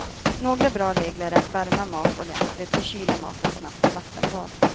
Några bra regler är att värma mat ordentligt och kyla maten snabbt i vattenbad.